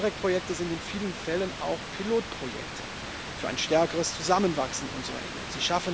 Interreg Projekte sind in vielen Fällen auch Pilotprojekte für ein stärkeres Zusammenwachsen unserer Regionen.